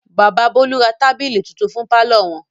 Bàbà Bólú ra tábìlì tuntun fún pálọ̀ wọn.